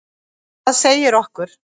Það segi okkur: